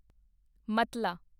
ਮਤਲਾ